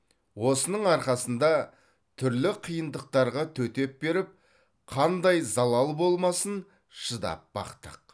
осының арқасында түрлі қиындықтарға төтеп беріп қандай залал болмасын шыдап бақтық